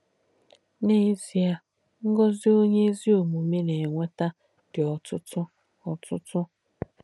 N’ézíē, ngózì onyè èzí òmùmè nà-ènwétà dí ótútú. ótútú.